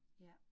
Ja